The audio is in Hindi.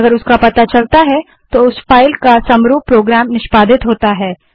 यदि इसका पता चलता है तो उस फाइल का समरूप प्रोग्राम निष्पादित होता है